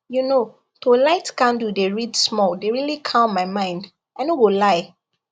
you know to light candle dey read small dey really calm my mind i no go lie